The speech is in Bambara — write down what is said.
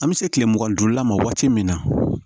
An bɛ se tile mugan ni duurula ma waati min na